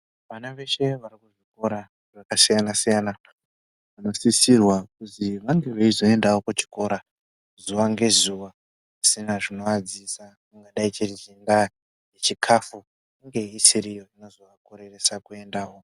Vana veshe varikukura vakasiyana siyana vanosisirwa kuzwi vange veizoendawo kuchikora zuwa ngezuwa pasina chingavadzivisa chingaa chiri chikhafu chinge chisiri chingazovakoreresa kuendawo.